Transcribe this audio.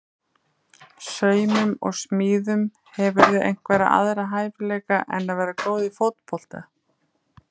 Saumum og smíðum Hefurðu einhverja aðra hæfileika en að vera góð í fótbolta?